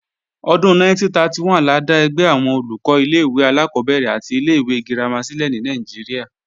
Ọdún 1931 la dá ẹgbẹ́ àwọn Olùkọ́ ilé-ìwé alákọ́bẹ̀rẹ̀ àti ilé-ìwé girama sílẹ̀ ní Nàìjíríà